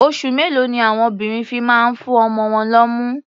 Oṣù mélòó ni àwon obìnrin fi máa ń fún ọmọ wọn lọ́mú?